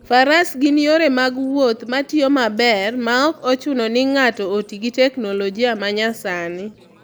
Faras gin yore mag wuoth matiyo maber maok ochuno ni ng'ato oti gi teknoloji ma nyasani.